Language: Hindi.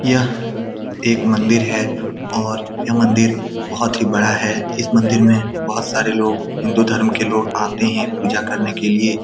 यह एक मंदिर है और यह मंदिर बहोत ही बड़ा है इस मंदिर में बहोत सारे लोग हिन्दू धर्म के लोग आते हैं पूजा करने के लिए।